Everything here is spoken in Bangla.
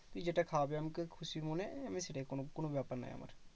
তুই যেটা খাওয়াবি আমাকে খুশি মনে আমি সেটাই কোনো কোনো ব্যাপার নয় আমার।